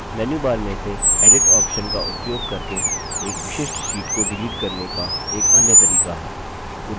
menu bar से edit option का उपयोग करके एक विशिष्ट sheet को डिलीट करने का एक अन्य तरीका है